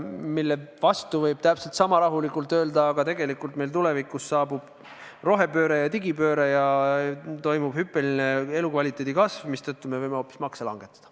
Selle vastu võib rahulikult öelda, et tegelikult meil tulevikus saabub rohepööre ja digipööre ja toimub hüppeline elukvaliteedi kasv, mistõttu me võime hoopis makse langetada.